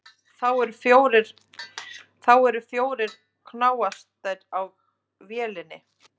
Þá eru fjórir knastásar á vélinni.